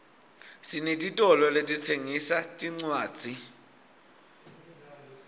sinetitolo letitsengisa tincwadzi